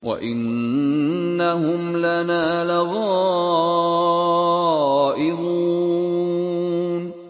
وَإِنَّهُمْ لَنَا لَغَائِظُونَ